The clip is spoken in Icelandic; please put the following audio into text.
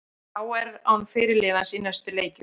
KR án fyrirliðans í næstu leikjum